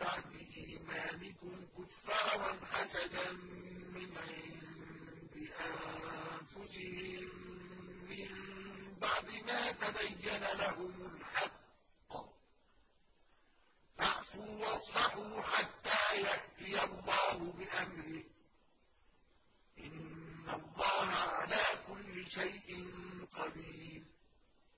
بَعْدِ إِيمَانِكُمْ كُفَّارًا حَسَدًا مِّنْ عِندِ أَنفُسِهِم مِّن بَعْدِ مَا تَبَيَّنَ لَهُمُ الْحَقُّ ۖ فَاعْفُوا وَاصْفَحُوا حَتَّىٰ يَأْتِيَ اللَّهُ بِأَمْرِهِ ۗ إِنَّ اللَّهَ عَلَىٰ كُلِّ شَيْءٍ قَدِيرٌ